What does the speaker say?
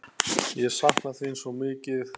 Ég sakna þín svo mikið.